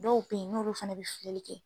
Dɔw be yen n'olu fɛnɛ be fili kɛ